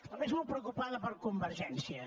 la veig molt preocupada per convergència